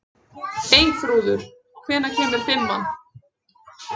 Eyþrúður, hvenær kemur fimman?